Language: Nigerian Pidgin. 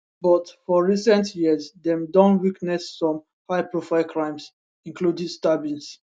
but for recent years dem don witness some highprofile crimes including stabbings